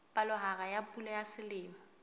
palohare ya pula ya selemo